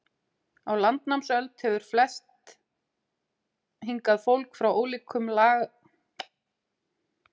Á landnámsöld hefur flust hingað fólk frá ólíkum lagaumdæmum í Noregi og frá öðrum löndum.